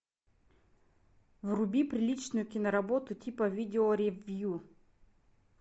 вруби приличную киноработу типа видео ревью